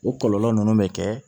O kɔlɔlɔ ninnu bɛ kɛ